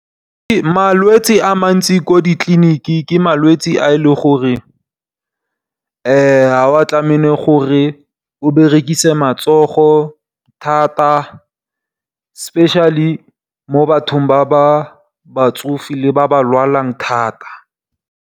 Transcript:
Malwetsi a mantsi ko ditliliniking ke malwetse a e le gore ha wa tlamele gore o berekise matsogo thata specially mo bathong ba batsofe le ba ba lwalang thata.